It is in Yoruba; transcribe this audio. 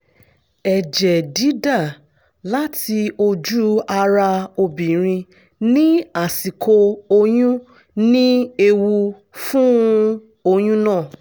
ẹ̀jẹ̀ dídà láti ojú ara obìnrin ní àsìkò oyún ní ewu fún oyún náà